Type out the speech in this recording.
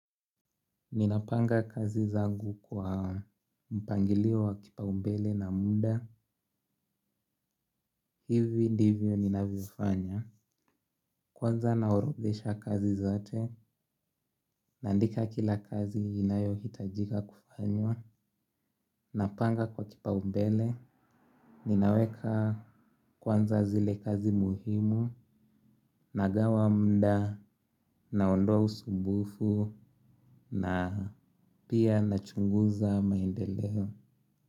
Ninapanga kazi zangu kwa mpangilio wa kipaombele na muda. Hivi ndivyo ninavyofanya. Kwanza naorodhesha kazi zote. Naandika kila kazi inayo hitajika kufanywa. Napanga kwa kipaumbele. Ninaweka kwanza zile kazi muhimu. Nagawa muda. Naondoa usumbufu. Na pia nachunguza maendeleo.